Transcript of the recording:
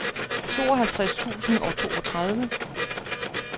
tooghalvtreds tusind og toogtredive